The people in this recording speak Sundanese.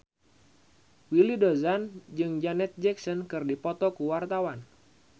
Willy Dozan jeung Janet Jackson keur dipoto ku wartawan